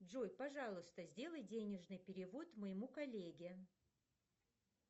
джой пожалуйста сделай денежный перевод моему коллеге